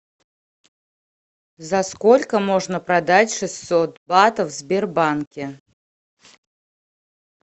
за сколько можно продать шестьсот батов в сбербанке